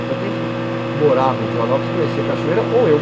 Então quem morava em Joanópolis conhecia a cachoeira ou eu.